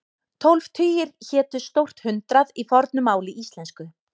Tólf tugir hétu stórt hundrað í fornu máli íslensku.